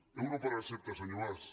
euro per recepta senyor mas